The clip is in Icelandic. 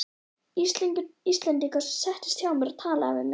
Íslendingur sem settist hjá mér og talaði við mig.